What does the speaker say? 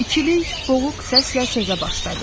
İkilik boğuq səslə sözə başladı.